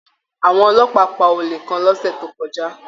Àwọn ọlọ́pàá pá olè kàn lọ́sẹ̀ tó kọjá